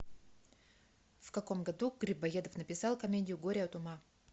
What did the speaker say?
в каком году грибоедов написал комедию горе от ума